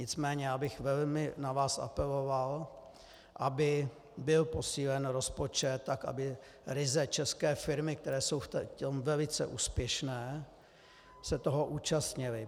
Nicméně já bych velmi na vás apeloval, aby byl posílen rozpočet tak, aby ryze české firmy, které jsou v tom velice úspěšné, se toho účastnily.